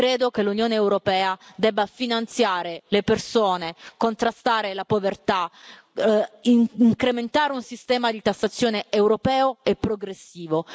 Credo che l'Unione europea debba finanziare le persone, contrastare la povertà, incrementare un sistema di tassazione europeo e progressivo.